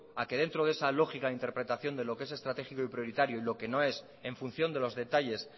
a que dentro de esa lógica interpretación de lo que es estratégico y prioritario y lo que no es en función de los detalles